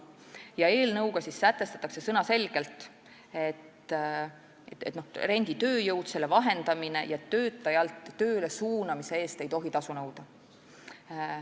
Selle eelnõuga sätestatakse sõnaselgelt, et renditööjõu vahendamise eest ja töötaja töölesuunamise eest ei tohi tasu nõuda.